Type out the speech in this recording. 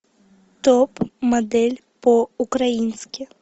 топ модель по украински